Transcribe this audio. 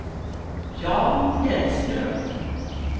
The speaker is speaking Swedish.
Jan Hellström